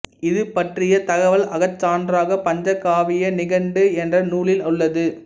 இது பற்றிய தகவல் அகசான்றாக பஞ்சகாவிய நிகண்டு என்ற நூலில் உள்ளது